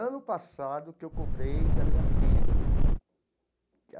Ano passado, que eu cobrei da minha prima.